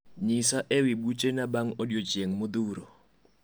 nyisa ewi buchena bang odiechieng modhuro